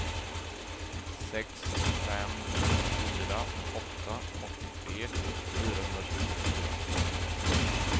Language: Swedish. sex fem fyra åtta åttiotre fyrahundratjugofyra